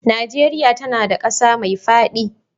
Nigeria tAna da ƙasa me fadi